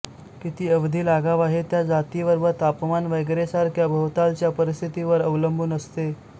किती अवधी लागावा हे त्या जातीवर व तापमान वगैरेंसारख्या भोवतालच्या परिस्थितीवर अवलंबून असते